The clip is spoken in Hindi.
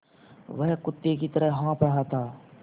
वह कुत्ते की तरह हाँफ़ रहा था